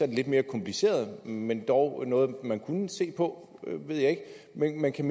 det lidt mere kompliceret men dog noget man kunne se på men kan